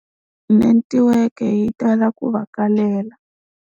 Netiweke yi tala ku va kalela.